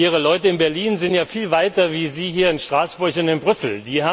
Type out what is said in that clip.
Ihre Leute in Berlin sind ja viel weiter als Sie hier in Straßburg und in Brüssel.